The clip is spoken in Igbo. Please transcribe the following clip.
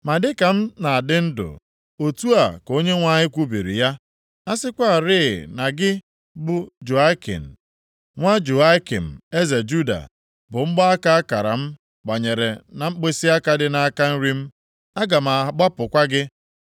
“Ma dịka m na-adị ndụ,” otu a ka Onyenwe anyị kwubiri ya, “a sịkwarị na gị, bụ Jehoiakin, nwa Jehoiakim eze Juda, bụ mgbaaka akara m gbanyere na mkpịsịaka dị nʼaka nri m, aga m agbapụkwa gị,